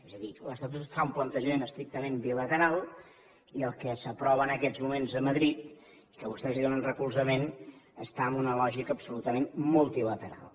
és a dir l’estatut fa un plantejament estrictament bilateral i el que s’aprova en aquests moments a madrid que vostès hi donen recolzament està en una lògica absolutament multilateral